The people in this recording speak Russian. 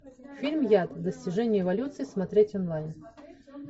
фильм яд достижения эволюции смотреть онлайн